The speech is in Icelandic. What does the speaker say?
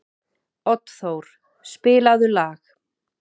Oddþór, spilaðu lag.